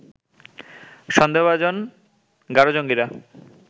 সন্দেহভাজন গারো জঙ্গীরা